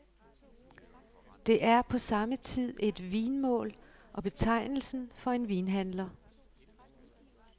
Det er på samme tid et vinmål og betegnelsen for en vinhandler.